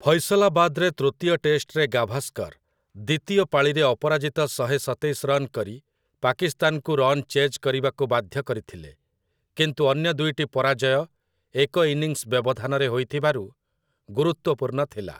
ଫୈସଲାବାଦରେ ତୃତୀୟ ଟେଷ୍ଟରେ ଗାଭାସ୍କର୍ ଦ୍ୱିତୀୟ ପାଳିରେ ଅପରାଜିତ ଶହେ ସତେଇଶ ରନ୍ କରି ପାକିସ୍ତାନକୁ ରନ୍ ଚେଜ୍ କରିବାକୁ ବାଧ୍ୟ କରିଥିଲେ, କିନ୍ତୁ ଅନ୍ୟ ଦୁଇଟି ପରାଜୟ ଏକ ଇନିଂସ୍ ବ୍ୟବଧାନରେ ହୋଇଥିବାରୁ ଗୁରୁତ୍ୱପୂର୍ଣ୍ଣ ଥିଲା ।